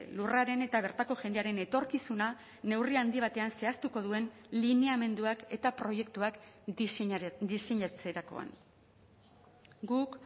lurraren eta bertako jendearen etorkizuna neurri handi batean zehaztuko duen lineamenduak eta proiektuak diseinatzerakoan guk